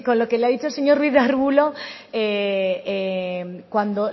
lo que le ha dicho el señor ruiz de arbulo